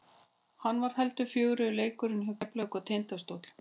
Hann var heldur fjörugri leikurinn hjá Keflavík og Tindastól.